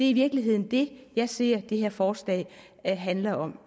i virkeligheden det jeg ser det her forslag handler om